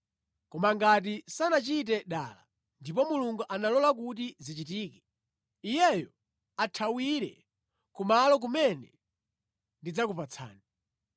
Koma ngati sanachite dala, ndipo Mulungu analola kuti zichitike, iyeyo athawire ku malo kumene ndidzakupatsani.